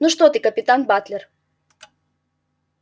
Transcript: ну что ты капитан батлер